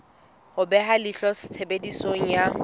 ho beha leihlo tshebediso ya